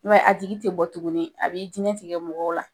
mɛ a tigi tɛ bɔ tuguni, a b'i diinɛi tigɛ mɔgɔw la